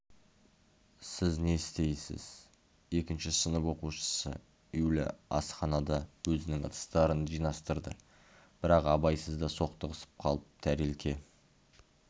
сіз не істейсіз екінші сынып оқушысы юля асханада өзінің ыдыстарын жинастырды бірақ абайсызда соқтығысып қалып тарелка